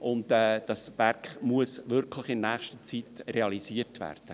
Dieses Werk muss wirklich in nächster Zeit realisiert werden.